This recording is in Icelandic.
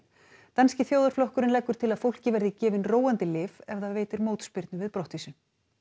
danski þjóðarflokkurinn leggur til að fólki verði gefin róandi lyf ef það veitir mótspyrnu við brottvísun